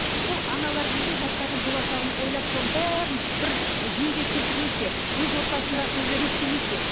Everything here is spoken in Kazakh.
сол аналар неге жастардың болашағын ойлап соның бәрін бір жүйеге келтірмеске өз отбасында өзі реттемеске